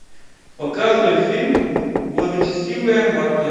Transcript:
показывай фильм благочестивая марта